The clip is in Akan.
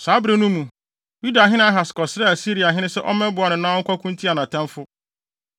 Saa bere no mu, Yudahene Ahas kɔsrɛɛ Asiriahene sɛ ɔmmɛboa no na ɔnkɔko ntia nʼatamfo.